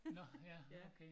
Nå ja okay